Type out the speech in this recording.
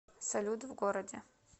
салют в городе